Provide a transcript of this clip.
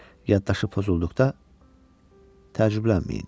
Yaddaşı pozulduqda təcrüblənməyin.